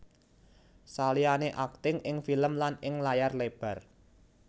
Saliyane akting ing film lan ing layar lebar